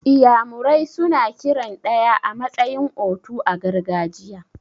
Iyamure suna kiran ɗaya a matsayin 'otu' a gargajiya.